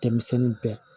Denmisɛnnin bɛɛ